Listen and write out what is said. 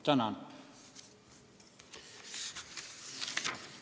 Tänan!